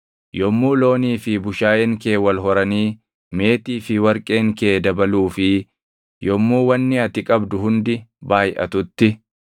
yommuu loonii fi bushaayeen kee wal horanii meetii fi warqeen kee dabaluu fi yommuu wanni ati qabdu hundi baayʼatutti,